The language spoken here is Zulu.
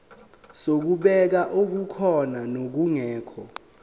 zokubheka okukhona nokungekho